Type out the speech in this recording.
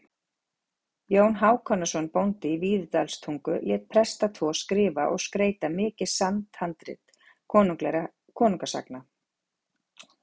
Jón Hákonarson bóndi í Víðidalstungu lét presta tvo skrifa og skreyta mikið safnhandrit konungasagna.